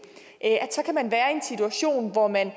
situation hvor man